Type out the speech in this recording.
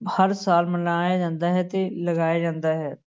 ਹਰ ਸਾਲ ਮਨਾਇਆ ਜਾਂਦਾ ਹੈ ਤੇ ਲਗਾਇਆ ਜਾਂਦਾ ਹੈ।